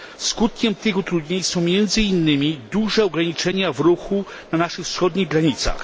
Skutkiem tych utrudnień są, między innymi, duże ograniczenia w ruchu na naszych wschodnich granicach.